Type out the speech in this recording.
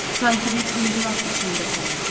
Sanki bir inqilab içində sənin.